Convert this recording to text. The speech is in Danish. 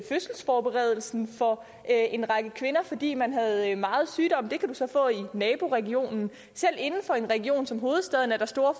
fødselsforberedelsen for en række kvinder fordi man havde meget sygdom det kan du så få i naboregionen selv inden for en region som hovedstaden er der store